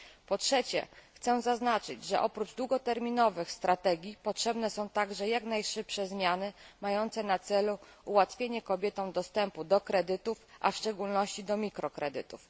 Po trzecie chcę zaznaczyć, że oprócz długoterminowych strategii potrzebne są także jak najszybsze zmiany mające na celu ułatwienie kobietom dostępu do kredytów, a w szczególności do mikrokredytów.